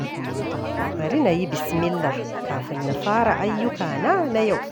Bari na yi bismillah kafin na fara ayyukana na yau.